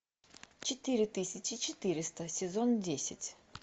четыре тысячи четыреста сезон десять